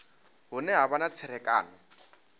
hune ha vha na tserakano